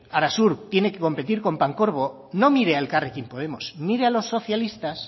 arasur tiene que competir con pancorbo no mire a elkarrekin podemos mire a los socialistas